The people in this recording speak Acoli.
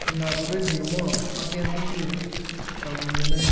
ki ngabo redio mo ma gin gitye ka winyone